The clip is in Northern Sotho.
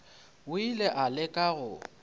o ile a leka go